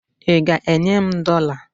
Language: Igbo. ị ga-enye m dollar?